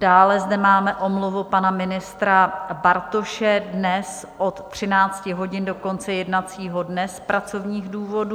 Dále zde máme omluvu pana ministra Bartoše dnes od 13. hodin do konce jednacího dne z pracovních důvodů.